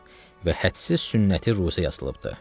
Və hədsiz sünnəti ruci yazılıbdır.